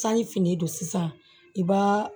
Sanji finnen don sisan i b'a